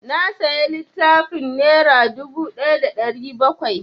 Na saya littafin nera dubu ɗaya da ɗari bakwai